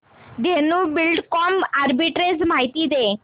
Dhenu Buildcon arbitrage माहिती दे